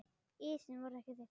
Ísinn var ekki þykkur.